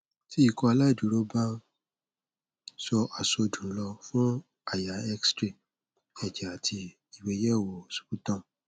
ti ikọaláìdúró ba n sọ àsọdùn lọ fun àyà xray ẹjẹ ati igbeyewo sputum